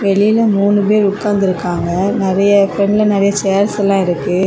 வெளியே மூணு பேர் உட்கார்ந்திருக்காங்க வெளியே நிறைய சேர்ஸ் இருக்கு.